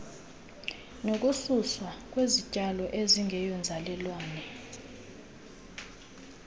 nokususwa kwezityalo ezingeyonzalelwane